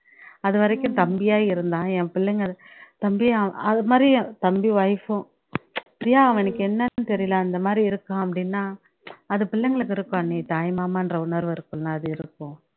அது வரைக்கும் தம்பியா இருந்தான் என் பிள்ளைங்க அ தம்பி அதுமாதிரி என் தம்பி wife உம் பிரியா அவனுக்கு என்னன்னு தெரியல அந்தமாரி இருக்கான் அப்படின்னா அது பிள்ளைங்களுக்கு இருக்கும் அண்ணி தாய் மாமான்ற உணர்வு இருக்கும்ல அது இருக்கும்